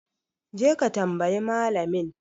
Je ka tambayi malamin!